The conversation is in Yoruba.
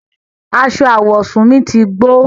Àṣọ awọsún mi ti gbọ̀.